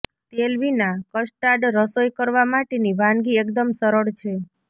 તેલ વિના કસ્ટાડ રસોઈ કરવા માટેની વાનગી એકદમ સરળ છે